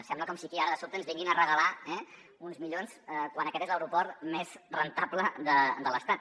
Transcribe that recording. sembla com si aquí ara de sobte ens vinguin a regalar uns milions quan aquest és l’aeroport més rendible de l’estat